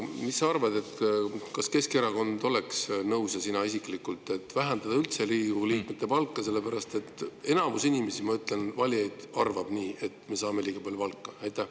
Mis sa arvad, kas Keskerakond oleks nõus – ja sina isiklikult – vähendama Riigikogu liikmete palka, sellepärast et enamus inimesi, valijaid arvab, et me saame liiga palju palka?